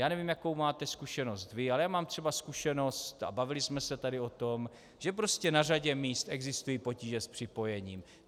Já nevím, jakou máte zkušenost vy, ale já mám třeba zkušenost, a bavili jsme se tady o tom, že prostě na řadě míst existují potíže s připojením.